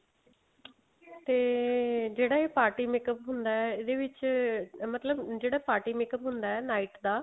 ਤੇ ਜਿਹੜਾ ਇਹ party makeup ਹੁੰਦਾ ਏ ਇਹਦੇ ਵਿੱਚ ਮਤਲਬ ਜਿਹੜਾ party makeup ਹੁੰਦਾ night ਦਾ